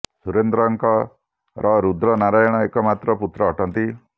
ସୁରେନ୍ଦ୍ରଙ୍କ ର ରୁଦ୍ର ନାରାୟଣ ଏକ ମାତ୍ର ପୁତ୍ର ଅଟନ୍ତି